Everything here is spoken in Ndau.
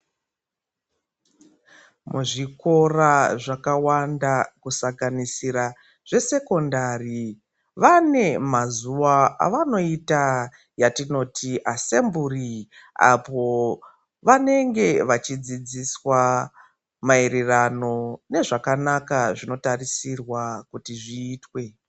Kuzvikora zvakawanda kusanganisira zvesekondari vane mazuva avanoita yavatinoti asemburi apo vanenge vachidzidziswa maererano nezvakanaka zvavanotarisirwa kuti vaite.